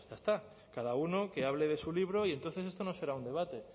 está cada uno que hable de su libro y entonces esto no será un debate